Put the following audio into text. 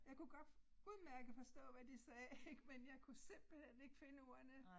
Jeg kunne godt udmærket forstå hvad de sagde ik men jeg kunne simpelthen ikke finde ordene